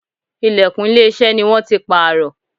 Ìlẹ̀kùn ilé iṣẹ́ ni wón ti pààrọ̀.